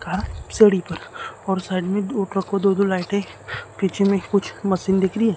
का सीढ़ी पर और साइड में दो ट्रकों दो दो लाइटे पीछे में कुछ मशीन दिख रही है।